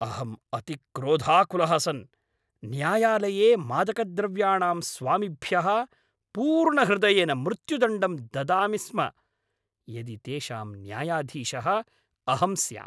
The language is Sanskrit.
अहम् अतिक्रोधाकुलः सन् न्यायालये मादकद्रव्याणां स्वामिभ्यः पूर्णहृदयेन मृत्युदण्डं ददामि स्म यदि तेषां न्यायाधीशः अहं स्याम्।